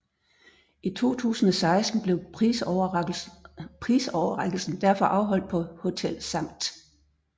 I 2016 blev prisoverrækkelsen derfor afholdt på Hotel Skt